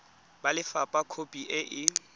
ba lefapha khopi e e